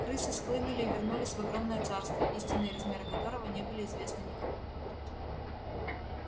крысы схлынули и вернулись в огромное царство истинные размеры которого не были известны никому